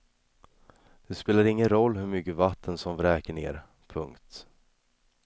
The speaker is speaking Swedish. Det spelar ingen roll hur mycket vatten som vräker ner. punkt